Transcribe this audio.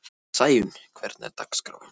Sæunn, hvernig er dagskráin?